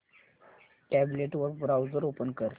tablet वर browser open कर